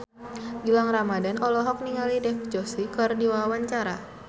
Gilang Ramadan olohok ningali Dev Joshi keur diwawancara